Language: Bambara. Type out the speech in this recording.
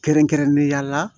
Kɛrɛnkɛrɛnnenya la